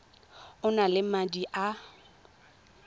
o na le madi a